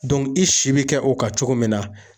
i si bi kɛ o kan cogo min na